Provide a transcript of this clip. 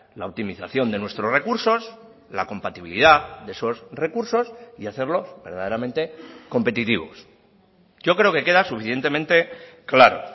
la optimización de nuestros recursos la compatibilidad de esos recursos y hacerlo verdaderamente competitivos yo creo que queda suficientemente claro